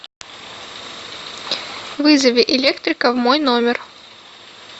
вызови электрика в мой номер